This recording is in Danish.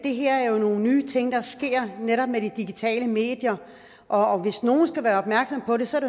det her er jo nogle nye ting der sker netop med de digitale medier og hvis nogen skal være opmærksomme på det så er